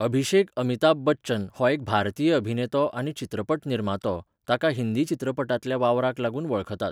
अभिषेक अमिताभ बच्चन हो एक भारतीय अभिनेतो आनी चित्रपट निर्मातो, ताका हिंदी चित्रपटांतल्या वावराक लागून वळखतात.